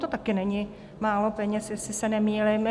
To taky není málo peněz, jestli se nemýlím.